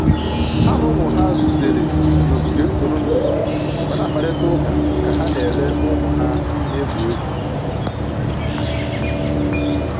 Ha na ụmụ ha zutere n'ogige ntụrụndụ ma na-akparịta ụka ka ha na-ele ụmụ ha na-egwu egwu